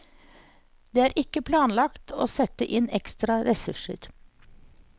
Det er ikke planlagt å sette inn ekstra ressurser.